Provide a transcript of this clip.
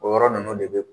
O yɔrɔ ninnu de bɛ